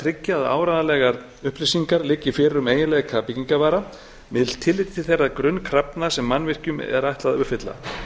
tryggja að áreiðanlegar upplýsingar liggi fyrir um eiginleika byggingarvara með tilliti til þeirra grunnkrafna sem mannvirkjum er ætlað að uppfylla